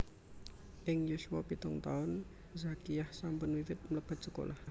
Ing yuswa pitung taun Zakiah sampun wiwit mlebet sekolah